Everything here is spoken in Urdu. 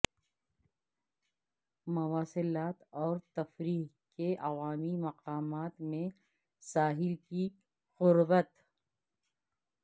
مواصلات اور تفریح کے عوامی مقامات میں ساحل کی قربت